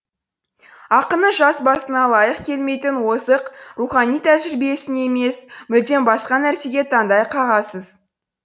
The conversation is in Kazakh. ақынның жас басына лайық келмейтін озық рухани тәжірибесіне емес мүлдем басқа нәрсеге таңдай қағасыз